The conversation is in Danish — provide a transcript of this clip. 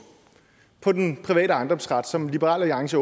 på den private ejendomsret som liberal alliance